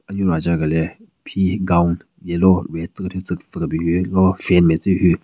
anyu raja güle phi gown yellow nme tsü kethyu tsü pvü kebin hyu lo fan matse hyu.